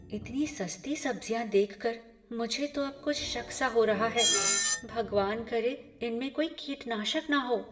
इतनी सस्ती सब्ज़ियाँ देखकर मुझे तो अब कुछ शक सा हो रहा है, भगवान करे इनमें कोई कीटनाशक ना हो।